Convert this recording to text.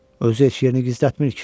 Özü heç yerini gizlətmir ki.